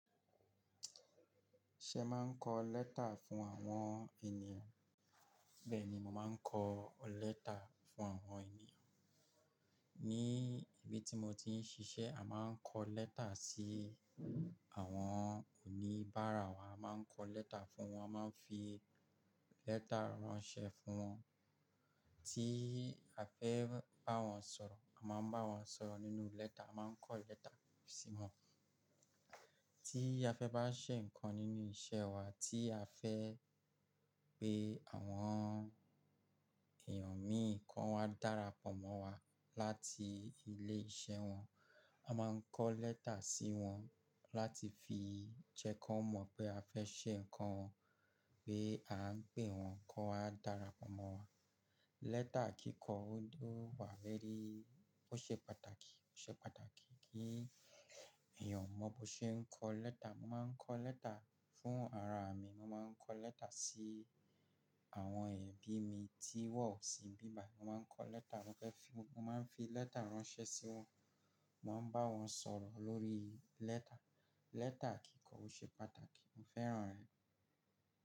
Ṣe máa ń kọ lẹ́tà fún àwọn ènìyàn? Bẹ́ẹ̀ni, mo máa ń kọ lẹ́tà fún àwọn ènìyàn. Ni ibi tí mo ti ń ṣiṣẹ́, a máa ń kọ lẹ́tà sí àwọn oníbàárà wa, a máa ń kọ lẹ́tà fún wọn, a máa ń fi lẹ́tà ránṣẹ́ fún wọn. Tí a fẹ́ bá wọn sọ̀rọ̀, a máa ń bá wọn sọ̀rọ̀ nínú lẹ́tà, a máa ń kọ lẹ́tà sí wọn. Tí a fẹ́ bá ṣẹ nǹkan nínú iṣẹ́ wa, tí a fẹ́ pé àwọn èèyàn míì kọ́ wá dára pọ̀ mọ́ wa láti ilé iṣẹ́ wọn, a máa ń kọ lẹ́tà sí wọn láti fi jẹ kí wọ́n mọ̀ pé a fẹ́ ṣe nǹkan, pé a ń pè wọ́n kó wá dára pọ̀ mọ́ wa. Lẹ́tà kíkọ, ó wà very, ó ṣe pàtàkì, ó ṣe pàtàkì kí èèyàn mọ bó ṣe ń kọ lẹ́tà. Mo máa ń kọ lẹ́tà fún ara mi, mo máa ń kọ lẹ́tà sí àwọn ẹ̀bí mi tí wọ́n ọ̀ sí bíba, mo máa ń kọ lẹ́tà mo fẹ́ fi, mo máa ń fi lẹ́tà ránṣẹ́ sí wọn, mo máa ń bá wọn sọ̀rọ̀ lórí lẹ́tà. Lẹ́tà kíkọ ó ṣe pàtàkì, mo fẹ́ràn rẹ̀.